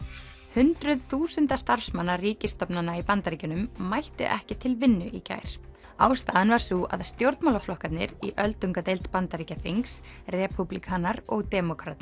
hundruð þúsunda starfsmanna ríkisstofnana í Bandaríkjunum mættu ekki til vinnu í gær ástæðan var sú að stjórnmálaflokkarnir í öldungadeild Bandaríkjaþings repúblikanar og demókratar